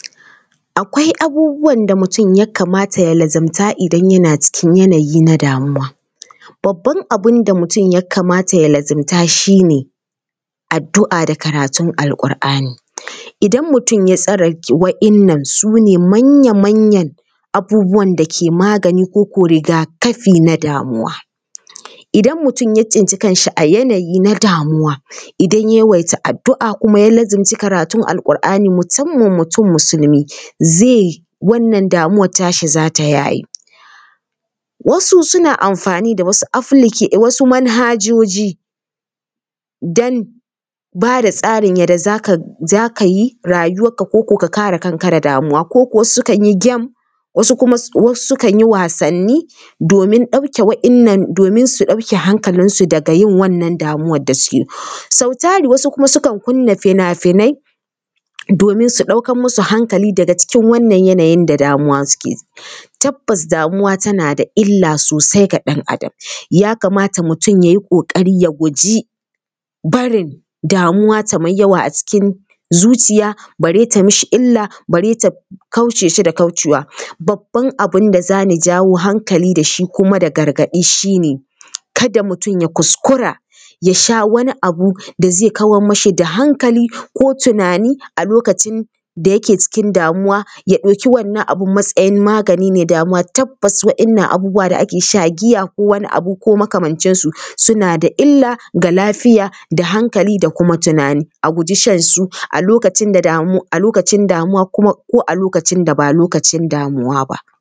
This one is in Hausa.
Akwai abubuwan da mutum ya kamata ya lazumta idan yana cikin yanayi na damuwa. Babban abin da mutum ya kamata ya lazumta shi ne addu’a da karatun Alƙur’ani. Idan mutum ya tsare waɗannan su ne manyan manyan abubuwan da ke magani ko riga-kafi na damuwa. Idan mutum ya tsinci kanshi a yanayi na damuwa, idan ya yawaita addu’a kuma ya lazumci karatun Alƙur’ani musamman mutum Musulmi zai, wannan damuwar tashi za ta yaye. Wasu suna amfani da wasu applica… wasu manhajoji don ba da tsarin yadda za ka yi rayuwarka ko ko ka ka kare kanka da damuwa, ko sukan yi game, wasu kuma sukan yi wasanni domin su ɗauke hanalinsu daga wannan damuwar da suke. Sau tari wasu kuma sukan kunna fina-finai, domin su ɗaukar musu hankali daga cikin wannan yanayin da damuwa suke. Tabbas damuwa tana da illa sosai ga ɗan Adam, ya kamata mutum ya yi ƙoƙari ya guji barin damuwa ta mai yawa a cikin zuciya, bare ta mishi illa, bare ta kauce shi da kaucewa. Babban abin da za ni jawo hankali da shi kuma da gargaɗi shi ne, kada mutum ya kuskura ya sha wani abu da zai kawar mashi da hankali ko tunani a lokacin da yake cikin damuwa, ya ɗauki wannan abin matsayin magani ne, damuwa tabbas waɗannan abubuwa da ake sha, giya ko wani abu ko makamancinsu suna da illa ga lafiya da hankali da kuma tunani. A guji shan su a lokacin da damuwa kuma ko a lokacin da ba lokacin damuwa ba.